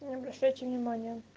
не обращайте внимания